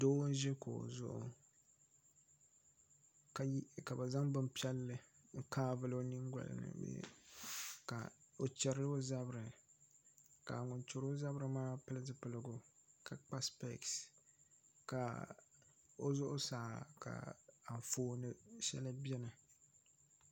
Doo n ʒi kuɣu zuɣu ka bi zaŋ bin piɛlli n kaai vuli o nyingoli ni ka o chɛri o zabiri ka ŋun chɛri o zabiri maa pili zipiligu ka kpa spees ka o zuɣusa ka Anfooni shɛli biɛni